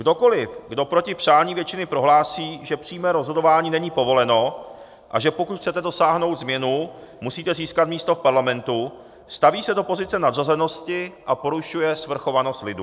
Kdokoliv, kdo proti přání většiny prohlásí, že přímé rozhodování není povoleno, a že pokud chcete dosáhnout změny, musíte získat místo v parlamentu, staví se do pozice nadřazenosti a porušuje svrchovanost lidu.